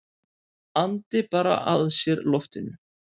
Andi bara að sér loftinu.